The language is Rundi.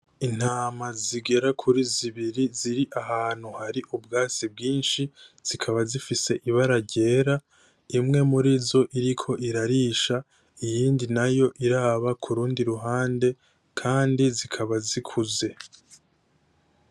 Intama zigera kuri zibiri ziri ahantu hari ubwatsi bwishi, zikaba zifise ibara ryera imwe murizo iriko irarisha iyindi nayo iraba k'urundi ruhande kandi zikaba zikuze.